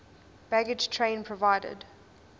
baggage train provided